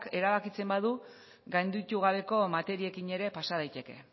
erabakitzen badu gainditu gabeko materiekin ere pasa daiteke